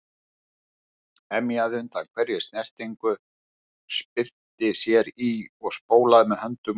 Emjaði undan hverri snertingu, spyrnti sér í og spólaði með höndum og fótum.